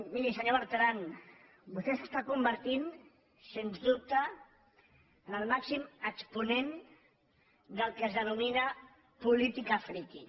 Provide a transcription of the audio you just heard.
miri senyor bertran vostè s’està convertint sens dubte en el màxim exponent del que es denomina política freaky